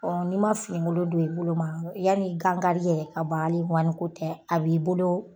Ɔ n'i ma fini golon don i bolo ma yani gan kari yɛrɛ ka ban a li ŋɔni ko tɛ a b'i bolo